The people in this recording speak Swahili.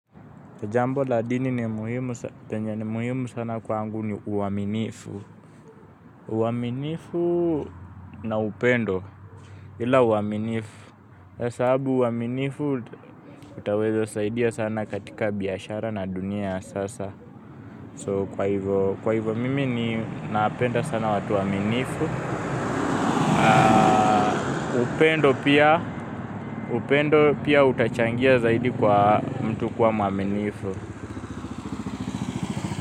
Jambo la dini lenye ni muhimu sana kwangu ni uaminifu. Uaminifu na upendo ila uaminifu. Sababu uaminifu utaweza saidia sana katika biashara na dunia ya sasa. So kwa hivyo mimi ninapenda sana watu waaminifu. Upendo pia utachangia zaidi kwa mtu kuwa mwaminifu.